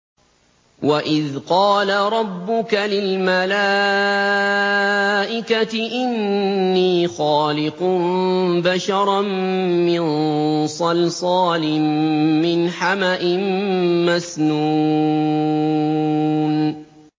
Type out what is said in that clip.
وَإِذْ قَالَ رَبُّكَ لِلْمَلَائِكَةِ إِنِّي خَالِقٌ بَشَرًا مِّن صَلْصَالٍ مِّنْ حَمَإٍ مَّسْنُونٍ